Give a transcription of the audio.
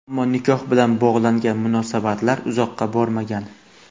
Ammo nikoh bilan bog‘langan munosabatlar uzoqqa bormagan.